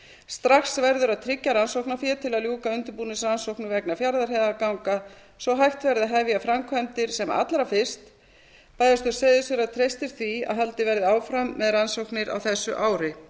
strax verður að tryggja rannsóknarfé til að ljúka undirbúningsrannsóknum vegna fjarðarheiðarganga svo hægt verði að hefja framkvæmdir sem allra fyrst bæjarstjórn seyðisfjarðar treystir því að haldið verði áfram með rannsóknirnar á þessu ári